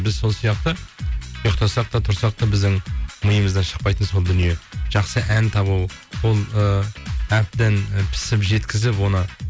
біз сол сияқты ұйықтасақ та тұрсақ та біздің миымыздан шықпайтын сол дүние жақсы ән табу ол ыыы әбден і пісіп жеткізіп оны